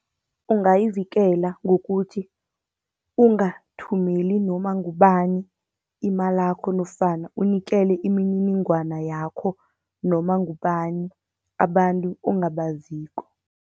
Ungayivikela ngokuthi ungathumeli noma ngubani imalakho, nofana unikele imininingwana yakho noma ngubani abantu ongabaziko.